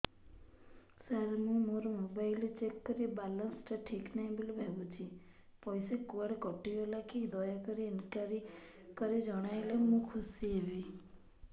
ସାର ମୁଁ ମୋର mobile check କଲି ବାଲାନ୍ସ ଟା ଠିକ ନାହିଁ ବୋଲି ଭାବୁଛି ପଇସା କୁଆଡେ କଟି ଗଲା କି ଦୟାକରି ଇନକ୍ୱାରି କରି ଜଣାଇଲେ ମୁଁ ଖୁସି ହେବି